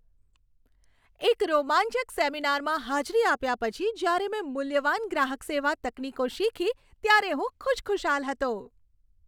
એક રોમાંચક સેમિનારમાં હાજરી આપ્યા પછી, જ્યારે મેં મૂલ્યવાન ગ્રાહક સેવા તકનીકો શીખી ત્યારે હું ખુશખુશાલ હતો.